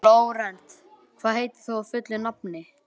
Flórent, hvað heitir þú fullu nafni?